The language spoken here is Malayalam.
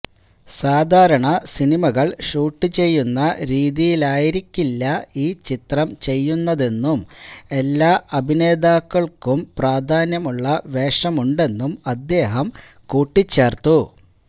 സാധാരണ സിനിമകൾ ഷൂട്ട് ചെയ്യുന്ന രീതിയിലായിരിക്കില്ല ഈ ചിത്രം ചെയ്യുന്നതെന്നും എല്ലാ അഭിനേതാക്കൾക്കും പ്രാധാന്യമുള്ള വേഷമുണ്ടെന്നും അദ്ദേഹം കൂട്ടിച്ചേർത്തു